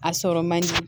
A sɔrɔ man di